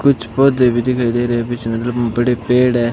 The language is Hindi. कुछ पौधे भी दिखाई दे रहे हैं पीछे बड़े पेड़ हैं।